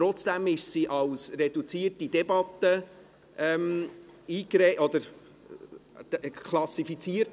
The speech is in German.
Trotzdem wurde es als reduzierte Debatte klassifiziert.